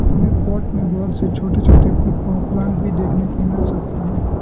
हमें पॉट में बहोत से छोटे छोटे पे प्लांट भी देखने को मिल सकते हैं।